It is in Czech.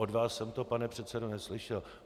Od vás jsem to, pane předsedo, neslyšel.